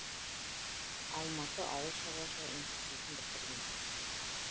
алматы ауыл шаруашылық институтын бітірген